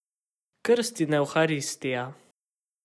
Krst in Evharistija.